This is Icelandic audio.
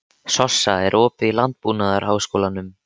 Sossa, er opið í Landbúnaðarháskólanum?